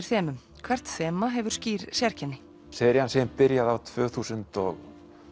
þemum hvert þema hefur skýr sérkenni serían sem ég byrjaði á tvö þúsund og